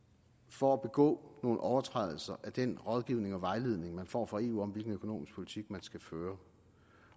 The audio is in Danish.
for at begå nogle overtrædelser af den rådgivning og vejledning man får fra eu om hvilken økonomisk politik man skal føre